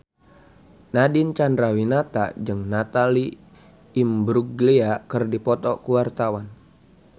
Nadine Chandrawinata jeung Natalie Imbruglia keur dipoto ku wartawan